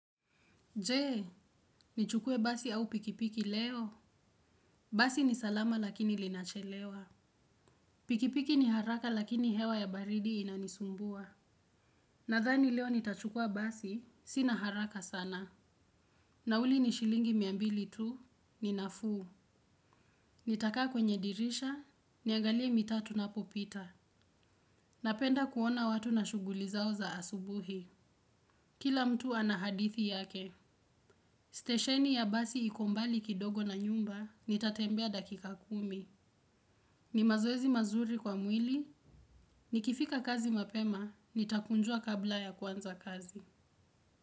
Jee, nichukue basi au pikipiki leo. Basi ni salama lakini linachelewa. Pikipiki ni haraka lakini hewa ya baridi inanisumbua. Nadhani leo nitachukua basi, sina haraka sana. Nauli nishilingi mia mbili tu, ni nafuu. Nitakaa kwenye dirisha, niangalie mitaa tunapopita. Napenda kuona watu na shuguli zao za asubuhi. Kila mtu ana hadithi yake. Stesheni ya basi iko mbali kidogo na nyumba, nitatembea dakika kumi. Ni mazoezi mazuri kwa mwili, nikifika kazi mapema, nitakunjua kabla ya kwanza kazi.